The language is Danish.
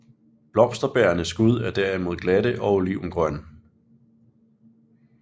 Blomsterbærende skud er derimod glatte og olivengrønne